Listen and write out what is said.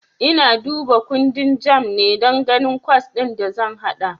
Ina duba kundin JAMB ne don ganin kwas din da zan haɗa.